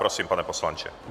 Prosím, pane poslanče.